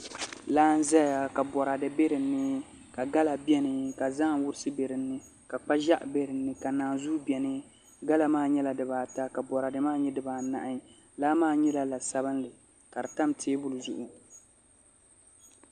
Laa n ʒɛya ka boraadɛ bɛ dinni ka gala bɛni ka zaham wurisi bɛ dinni la kpa ʒiɛɣu bɛni ka naanzuu bɛni gala maa nyɛla dibaata ka boraadɛ maa nyɛ dabaanahi laa maa nyɛla la sabinli ka di tam teebuli zuɣu